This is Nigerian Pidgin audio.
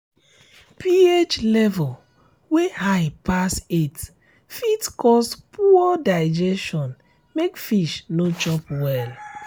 ph level wey high pass eight fit cause poor digestion make fish no chop well